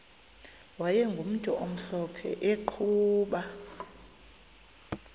wayegumntu omhlophe eqhuba